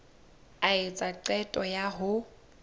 a etsa qeto ya ho